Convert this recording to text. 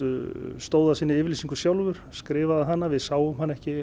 stóð að sinni yfirlýsingu sjálfur skrifaði hana við sáum hana ekki